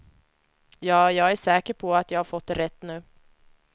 Ja, jag är säker på att jag har fått det rätt nu.